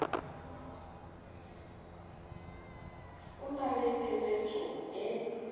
o na le phepetso e